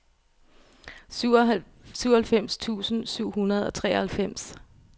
syvoghalvfems tusind syv hundrede og treoghalvfems